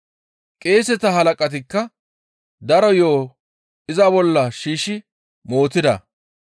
Qeeseta halaqatikka daro yo7o iza bolla shiishshi mootida.